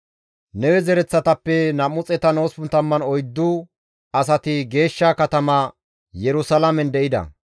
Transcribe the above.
Lewe zereththatappe 284 asati geeshsha katama Yerusalaamen de7ida.